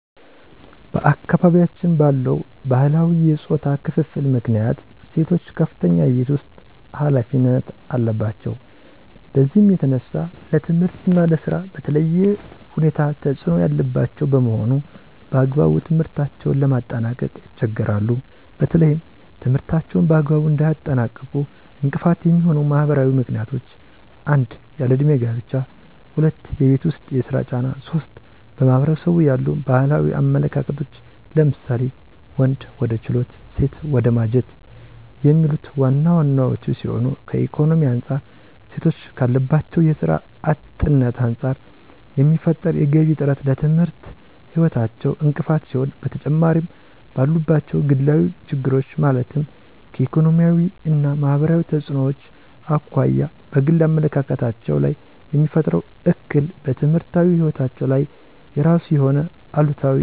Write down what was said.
በአካባቢያችን ባለው ባህላዊ የፆታ ክፍፍል ምክንያት ሴቶች ከፍተኛ የቤት ውስጥ ኃላፊነት አለባቸው። በዚህም የተነሳ ለትምህርት እና ለስራ በተለየ ሁኔታ ተፅዕኖ ያለባቸው በመሆኑ በአግባቡ ትምህርታቸውን ለማጠናቀቅ ይቸገራሉ። በተለይም ትምህርታቸውን በአግባቡ እንዳያጠናቅቁ እንቅፋት የሚሆኑ ማህበራዊ ምክንያቶች 1- ያለ እድሜ ጋብቻ 2- የቤት ውስጥ የስራ ጫና 3- በማህበረሰቡ ያሉ ባህላዊ አመለካከቶች ለምሳሌ:- ወንድ ወደ ችሎት ሴት ወደ ማጀት የሚሉት ዋና ዋናወቹ ሲሆኑ ከኢኮኖሚ አንፃር ሴቶች ካለባቸው የስራ አጥነት አንፃር የሚፈጠር የገቢ እጥረት ለትምህርት ህይወታቸው እንቅፋት ሲሆን በተጨማሪምባሉባቸው ግላዊ ችግሮች ማለትም ከኢኮኖሚያዊ እና ማህበራዊ ተፅዕኖዎች አኳያ በግል አመለካከታቸው ላይየሚፈጥረው እክል በትምህርታዊ ህይወታቸው ላይ የራሱ የሆነ አሉታዊ ተፅዕኖ አለው።